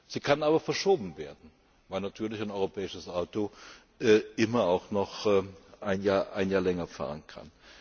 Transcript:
Sie kann aber verschoben werden, weil natürlich ein europäisches Auto immer auch noch ein Jahr länger fahren kann.